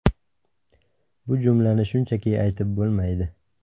Bu jumlani shunchaki aytib bo‘lmaydi.